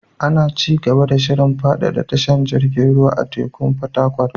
Ana ci gaba da shirin faɗaɗa tashar jirgin ruwan teku a Fatakwal.